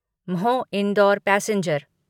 Mhow Indore passenger